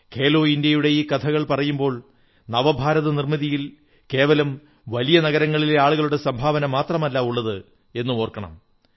ഖേലോ ഇന്ത്യയുടെ ഈ കഥകൾ പറയുമ്പോൾ നവഭാരത നിർമ്മിതിയിൽ കേവലം വലിയ നഗരങ്ങളിലെ ആളുകളുടെ സംഭാവന മാത്രമല്ല ഉള്ളത് എന്നും ഓർക്കണം